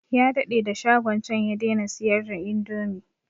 Ya daɗe da shagon can ya daina siyar da indomi